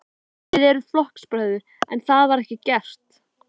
Hvaða breyting hefur verið björgunar- og leitartækni á síðustu árum?